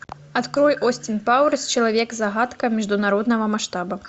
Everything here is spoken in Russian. открой остин пауэрс человек загадка международного масштаба